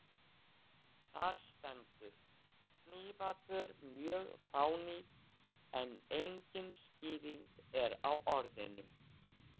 Þar stendur: hnífapör mjög fánýt en engin skýring er á orðinu.